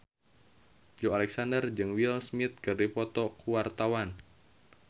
Joey Alexander jeung Will Smith keur dipoto ku wartawan